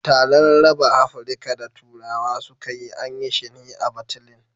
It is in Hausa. Taran raba Afrika da turawa suka yi, an yi shi ne a Batlin